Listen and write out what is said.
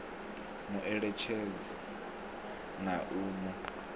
mu eletshedze na u mu